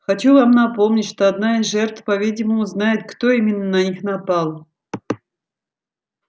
хочу вам напомнить что одна из жертв по-видимому знает кто именно на них напал